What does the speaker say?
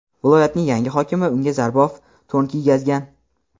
viloyatning yangi hokimi unga zarbof to‘n kiygazgan.